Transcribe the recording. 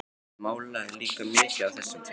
Ég málaði líka mikið á þessum tíma.